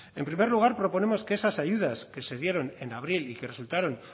en primer lugar proponemos que esas ayudas que se dieron en abril y que resultaron